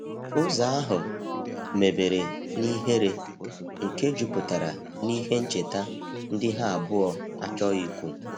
Ụzo ahu mebere n'ihere nke juputara n'ihe ncheta ndi ha abuo achoghi ikwu